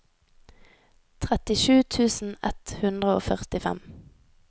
trettisju tusen ett hundre og førtifem